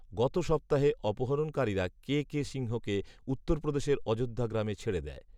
গত সপ্তাহে অপহরণকারীরা কে কে সিংহকে উত্তরপ্রদেশের অযোধ্যা গ্রামে ছেড়ে দেয়